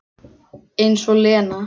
Eins og Lena!